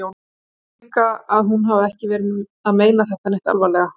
Ég held nú líka að hún hafi ekki verið að meina þetta neitt alvarlega.